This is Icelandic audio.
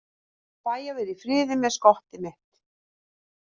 Fæ að vera í friði með skottið mitt.